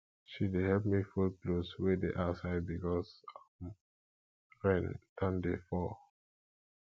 she dey help me fold clothes wey dey outside because um rain don dey fall